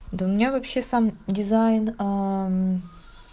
да у меня вообще сам дизайн